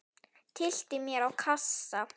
Tyllti mér á kassa.